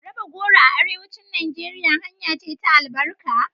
Raba goro a Arewacin Najeriya hanya ce ta albarka.